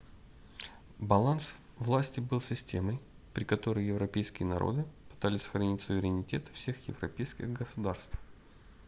баланс власти был системой при которой европейские народы пытались сохранить суверенитет всех европейских государств